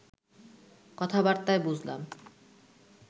কথাবার্তায় বুঝলাম